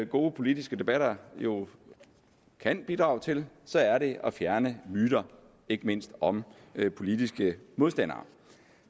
gode politiske debatter jo kan bidrage til så er det at fjerne myter ikke mindst om politiske modstandere